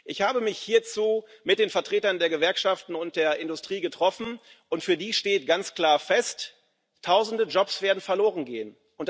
Ich habe mich hierzu mit den Vertretern der Gewerkschaften und der Industrie getroffen, und für die steht ganz klar fest Tausende Jobs werden verlorengehen.